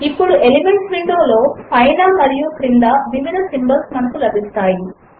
ఇప్పుడు elements window లో పైన మరియు క్రింద వివిధ సింబల్స్ మనకు లభిస్తాయి